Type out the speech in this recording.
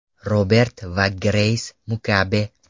Robert va Greys Mugabe.